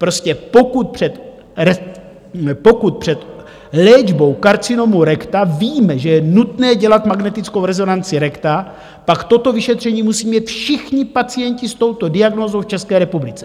Prostě pokud před léčbou karcinomu rekta víme, že je nutné dělat magnetickou rezonanci rekta, pak toto vyšetření musí mít všichni pacienti s touto diagnózou v České republice.